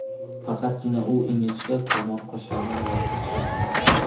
Faqatgina u ingichka kamon qoshlaridan voz kechgan, xolos.